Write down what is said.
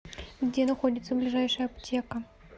где находится ближайшая аптека